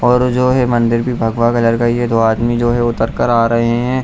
और जो वो है मंदिर भी भगवा कलर का ही है दो आदमी जो है वो उतर कर आ रहे हैं।